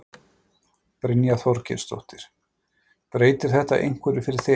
Brynja Þorgeirsdóttir: Breytir þetta einhverju fyrir þig?